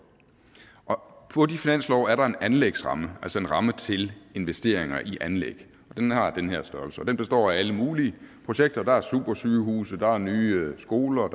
og på de finanslove er der en anlægsramme altså en ramme til investeringer i anlæg og den har den her størrelse og består af alle mulige projekter der er supersygehuse der er nye skoler